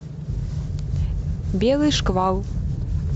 белый шквал